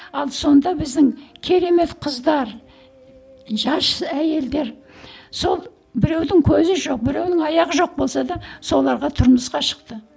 ал сонда біздің керемет қыздар жас әйелдер сол біреудің көзі жоқ біреудің аяғы жоқ болса да соларға тұрмысқа шықты